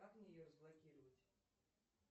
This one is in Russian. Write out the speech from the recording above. как мне ее разблокировать